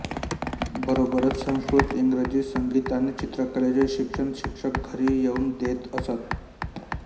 बरोबरच संस्कृत इंग्रजी संगीत आणि चित्रकलेचे शिक्षण शिक्षक घरी येऊन देत असत